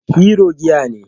Hero giya ne.